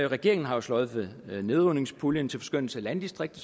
regeringen har jo sløjfet nedrivningspuljen til forskønnelse af landdistrikter